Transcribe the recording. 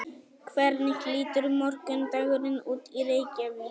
hvernig lítur morgundagurinn út í reykjavík